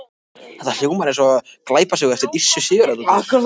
Það hljómar eins og nafn á glæpasögu.